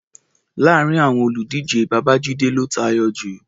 Láàárin àwọn olùdíje, Babájíde ló tayọ jù.